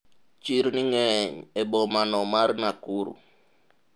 chirni ng'eny e boma no mar Nakuru